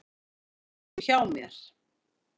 Núna ertu hjá mér.